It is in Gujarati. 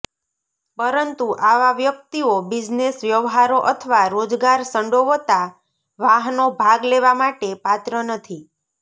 પરંતુ આવા વ્યક્તિઓ બિઝનેસ વ્યવહારો અથવા રોજગાર સંડોવતા વાહનો ભાગ લેવા માટે પાત્ર નથી